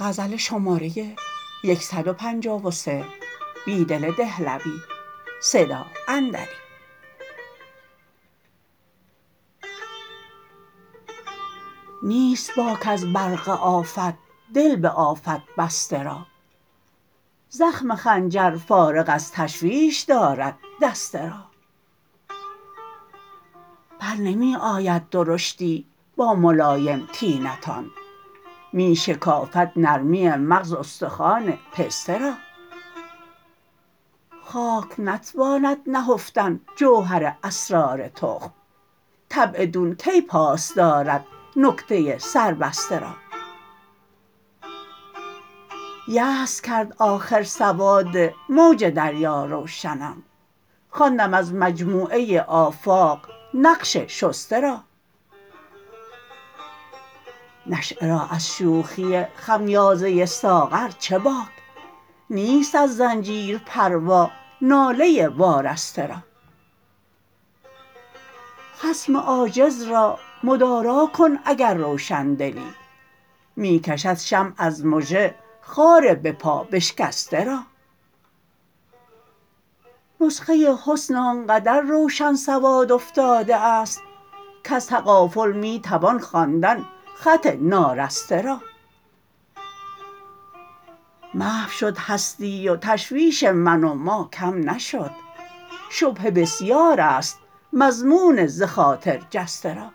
نیست باک از برق آفت دل به آفت بسته را زخم خنجر فارغ از تشویش دارد دسته را برنمی آید درشتی با ملایم طینتان می شکافد نرمی مغز استخوان پسته را خاک نتواند نهفتن جوهر اسرار تخم طبع دون کی پاس دارد نکته سربسته را یأس کرد آخر سواد موج دریا روشنم خواندم از مجموعه آفاق نقش شسته را نشیه را از شوخی خمیازه ساغر چه باک نیست از زنجیر پروا ناله وارسته را خصم عاجز را مدارا کن اگر روشندلی می کشد شمع از مژه خار به پا بشکسته را نسخه حسن آنقدر روشن سواد افتاده است کز تغافل می توان خواندن خط نارسته را محو شد هستی و تشویش من و ما کم نشد شبهه بسیار است مضمون ز خاطر جسته را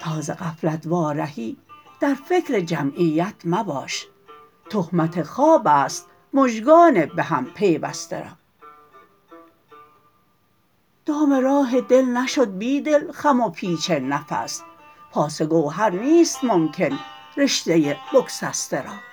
تا ز غفلت وارهی در فکر جمعیت مباش تهمت خواب است مژگان بهم پیوسته را دام راه دل نشد بیدل خم و پیچ نفس پاس گوهر نیست ممکن رشته بگسسته را